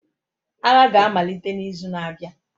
Agha ga-amalite n'izu na-abịa.